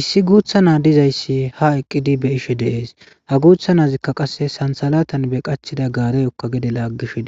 Issi guutha nay dizaysi haa eqqidi be'ishe de'ees. Ha guutha naazi qasse santhalatan be qachchida gaarezaka gede sugishe woyko laagishe